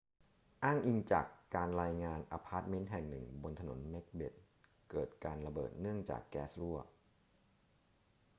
อ้างอิงจากการรายงาน อพาร์ทเมนต์แห่งหนึ่งบนถนนเม็กเบธเกิดการระเบิดเนื่องจากแก๊สรั่ว